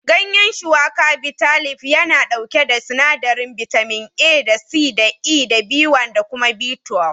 Gayan Shuwaka/Bitalib yana ɗauke da sinadarin bitamin A da C da E da B1 da kuma B12.